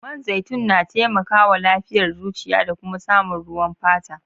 Man zaitun na taimaka wa lafiyar zuciya da kuma samun ruwan fata.